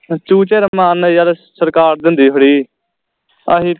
ਚੂਚੇ ਰਮਾਨ ਨਾਲ ਸਰਕਾਰ ਦਿੰਦੀ free ਅਹੀ